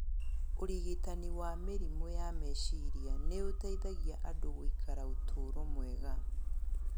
Ũrigitani wa mĩrimũ ya meciria nĩ ũteithagia andũ gũikara ũtũũro mwega.